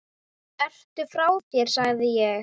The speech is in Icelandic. Ertu frá þér sagði ég.